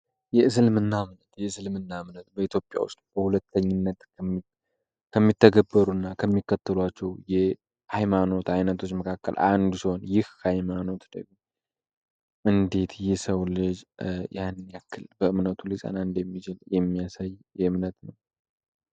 የእስልምና እምነት የእስልምና እምነት በኢትዮጵያ ውስል በሁለተኝነት ከሚተገበሩ እና ከሚከትሏቸው የሃይማኖት አይነቶች መካከል አንዱ ሰሆን ይህ ሃይማኖት ደይጉ እንዴት ይህ ሰው ለጅ ያንያክል በእምነቱ ልፃና እንድ የሚችል የሚያሳይ እምነት ነው።